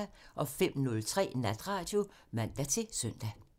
05:03: Natradio (man-søn)